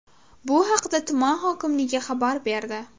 Bu haqda tuman hokimligi xabar berdi .